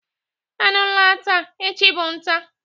Anụ gbala taa, echi bụ nta